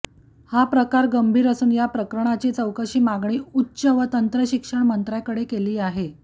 हा प्रकार गंभीर असून या प्रकरणाची चौकशीची मागणी उच्च व तंत्रशिक्षण मंत्र्यांकडे केली आहे